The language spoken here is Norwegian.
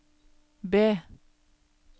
B